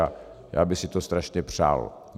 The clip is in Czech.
A já bych si to strašně přál.